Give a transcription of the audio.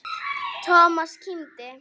Thomas kímdi.